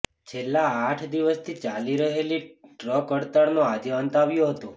છેલ્લા આઠ દિવસથી ચાલી રહેલી ટ્રક હડતાળનો આજે અંત આવ્યો હતો